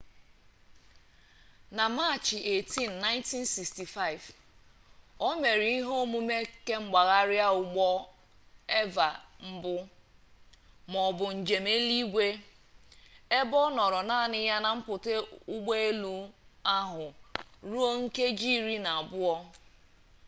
na machị 18 1965 o mere ihe omume kemgbagharị ụgbọ eva mbụ maọbụ njem n'eluigwe ebe ọ nọọrọ naanị ya na mpụta ụgbọ elu ahụ ruo nkeji iri na abụọ